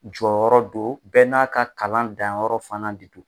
Jɔyɔrɔ don bɛɛ n'a ka kalan danyɔrɔ fana de don.